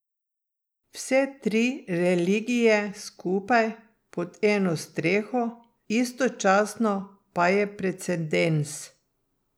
Vse tri religije skupaj, pod eno streho, istočasno, pa je precedens.